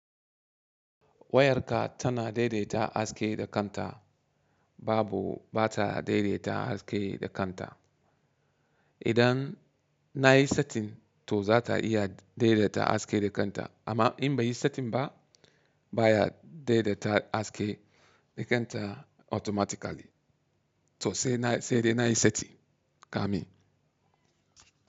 Wayarka tana daidaita haske da kanta. Babu, ba ta daidaita haske da kanta. Idan na yi setin, to za ta iya daidaita haske da kanta. Amma in bai yi setin ba, ba ya daidaita haske da kanta automatically. To sai dai na yi seti, kamin.